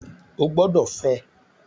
Ó gbọ́dọ̀ fẹ́!